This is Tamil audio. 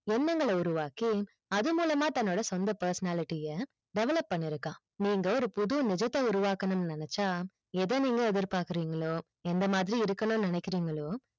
எண்ணங்கள் உருவாக்கி அது மூலமா தன்னோட சொந்த personality அ develop பண்ணி இருக்கான் நீங்க ஒரு புது நிஜத்தை உருவாக்கனும் நினைச்சா எதை நீங்க எதைப்பக்குறிங்களோ எந்த மாதிரி இருக்கனும் நினைக்கிறிங்களோ